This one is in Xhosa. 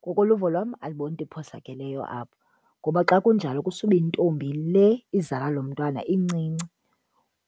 Ngokoluvo lwam andiboni iphosakeleyo apho ngoba xa kunjalo kusube intombi le izala lo mntwana incinci,